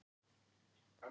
En hún vissi það ekki þá.